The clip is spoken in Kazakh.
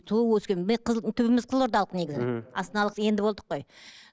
туып өскен мен түбіміз қызылордалық негізі ммм астаналық енді болдық қой